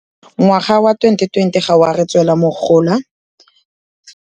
Ngwana wa twenty twenty ga wa re tswela mogola.